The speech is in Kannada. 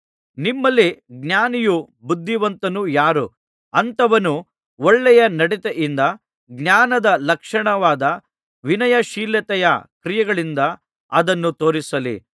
ನಿಮ್ಮಲ್ಲಿ ಜ್ಞಾನಿಯೂ ಬುದ್ಧಿವಂತನೂ ಯಾರು ಅಂಥವನು ಒಳ್ಳೆಯ ನಡತೆಯಿಂದ ಜ್ಞಾನದ ಲಕ್ಷಣವಾದ ವಿನಯಶೀಲತೆಯ ಕ್ರಿಯೆಗಳಿಂದ ಅದನ್ನು ತೋರಿಸಲಿ